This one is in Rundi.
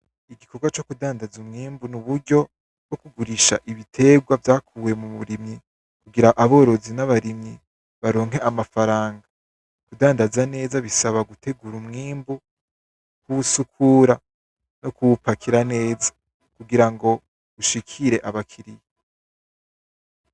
Igikorwa co kudandaza umwimbu n'uburyo bwo kugurisha ibitegwa vyakuwe muburimyi kugira aborozi nabarimyi baronke amafaranga kudandaza neza bisaba gutegura umwimbu kuwusukura no kuwupakira neza kugirango ushikire abakiriya.